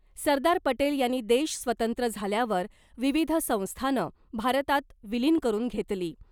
सरदार पटेल यांनी देश स्वतंत्र झाल्यावर , विविध संस्थानं भारतात विलीन करून घेतली .